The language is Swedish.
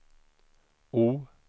O